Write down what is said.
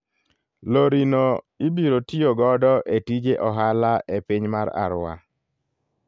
Lori no ibiro tiyo godo e tije ohala e piny mar Arua.